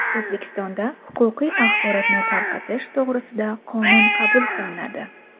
O‘zbekistonda huquqiy axborotni tarqatish to‘g‘risida qonun qabul qilinadi.